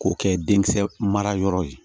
K'o kɛ denkisɛ marayɔrɔ ye